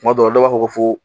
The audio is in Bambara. Tuma dɔw la, dɔw b'a fɔ ko foo